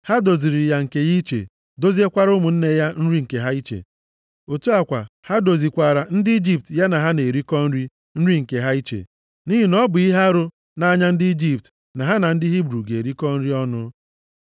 Ha doziiri ya nri nke ya iche, doziekwara ụmụnne ya nri nke ha iche. Otu a kwa, ha dozikwaara ndị Ijipt ya na ha na-erikọ nri, nri nke ha iche. Nʼihi na ọ bụ ihe arụ nʼanya ndị Ijipt na ha na ndị Hibru ga-erikọta nri ọnụ.